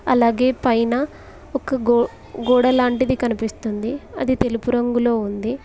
అలాగే పైన ఒక గోడ లాంటిది కనిపిస్తుంది అది తెలుపు రంగులో ఉంది.